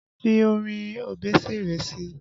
Fi orin Obesere sí i!